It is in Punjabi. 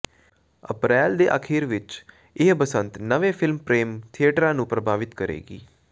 ਅਪਰੈਲ ਦੇ ਅਖੀਰ ਵਿੱਚ ਇਹ ਬਸੰਤ ਨਵੇਂ ਫਿਲਮ ਪ੍ਰੋਮ ਥੀਏਟਰਾਂ ਨੂੰ ਪ੍ਰਭਾਵਤ ਕਰੇਗੀ